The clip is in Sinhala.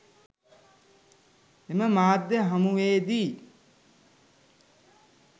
එම මාධ්‍ය හමුවේදී